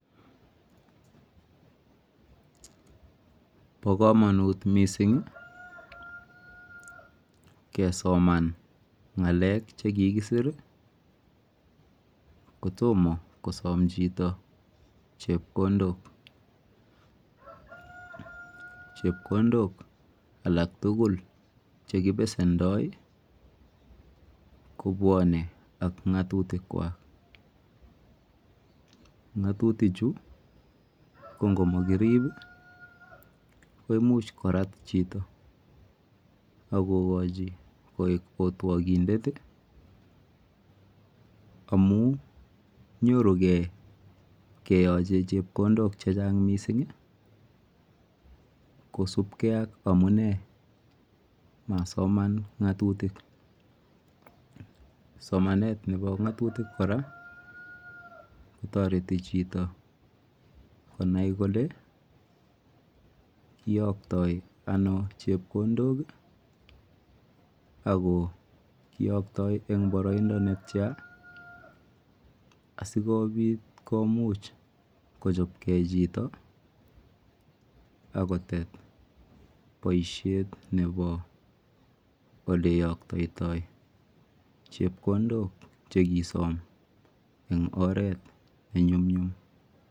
Pa kamanut missing' kesoman ng'alek che kikisir ko toma kosam chito chepkondok. Chepkondok alak tugul che kipsendoi kopwane ak ng'atutitkwak. Nga'atutichu ko ngo makirip ko imuch korat chito ak kokachi koek katwokindet amu nyoru ge keyache chepkondok che chang' missing' kosupge ak amune masoman ng'atutik. Somanani kora ko tareti chito konai kole iyaktai ano chepkondok i, ako iyaktai eng' paraindo netya asikomuch kochop gei chito ako tet poishet nepo ole iyaktaitai chepkondok che kisam eng' oret ne nyumnyum.